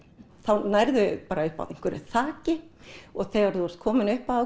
þá nærðu bara upp að einhverju þaki og þegar þú ert komin upp að